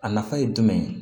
A nafa ye jumɛn ye